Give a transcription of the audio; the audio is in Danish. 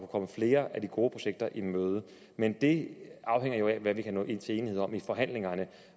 komme flere af de gode projekter i møde men det afhænger jo af hvad vi kan nå til enighed om i forhandlingerne